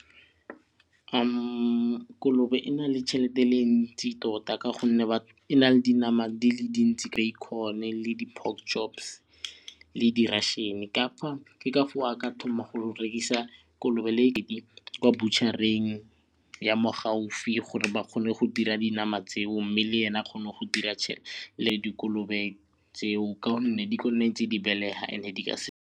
Kolobe e na le tšhelete e ntsi tota ka gonne e na le dinama di le dintsi bacon le di-pork chops le russian ke ka foo a ka thoma go rekisa kolobe kwa bo burcher-eng ya mo gaufi gore ba kgone go dira dinama tseo mme le ene a kgone go dira le dikolobe tseo ka gonne di nne tse di belega and-e di ka se.